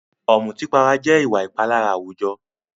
Ọ̀mùtípara jẹ́ ìwà ìpalára àwùjọ.